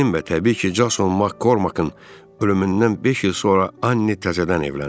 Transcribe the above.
Ərinin və təbii ki, Jason Mak Kormakın ölümündən beş il sonra Anni təzədən evləndi.